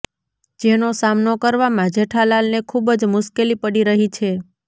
જેનો સામનો કરવામાં જેઠાલાલને ખૂબ જ મુશ્કેલી પડી રહી છે